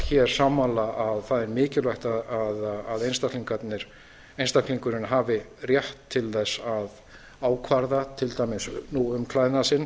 öll sammála að það er mikilvægt að einstaklingurinn hafi rétt til að ákvarða til dæmis um klæðnað sinn